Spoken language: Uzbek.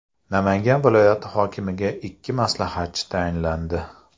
Namangan viloyati hokimiga ikki maslahatchi tayinlandi.